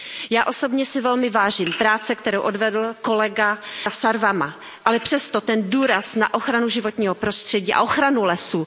Já osobně si velmi vážím práce, kterou odvedl kolega Sarvamaa, ale přesto ten důraz na ochranu životního prostředí a ochranu lesů...